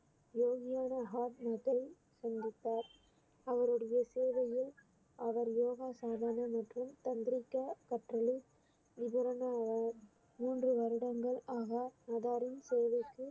சந்தித்தார் அவருடைய சேவையை அவர் மற்றும் மூன்று வருடங்கள் ஆக தேவைக்கு